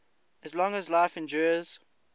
as long as life endures